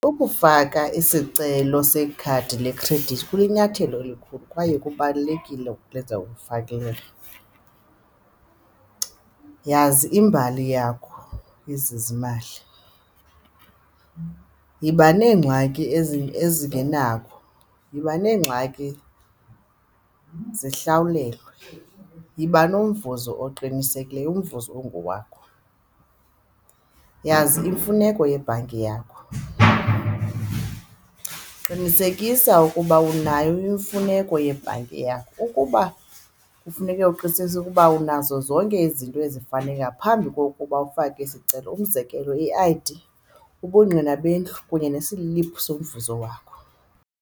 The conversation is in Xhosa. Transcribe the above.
Ukufaka isicelo sekhadi lekhredithi kulinyathelo elikhulu kwaye kubalulekile ukulenza . yazi imbali yakho yezezimali, yiba neengxaki ezingenako, yiba neengxaki zihlawulelwe, yiba nomvuzo oqinisekileyo, umvuzo ongowakho. Yazi imfuneko yebhanki yakho, qinisekisa ukuba unayo imfuneko yebhanki yakho. Ukuba ufuneka uqinisekise ukuba unazo zonke izinto ezifanele ngaphambi kokuba ufake isicelo, umzekelo i-I_D, ubungqina bendlu kunye nesiliphu somvuzo wakho.